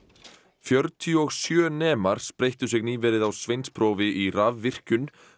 fjörutíu og sjö nemar spreyttu sig nýverið á sveinsprófi í rafvirkjun